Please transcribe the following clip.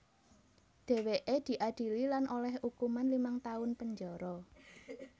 Dhèwèké diadili lan olèh ukuman limang taun penjara